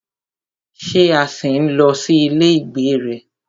Ṣé a ṣì ń lọ sí ilé ìgbé rẹ?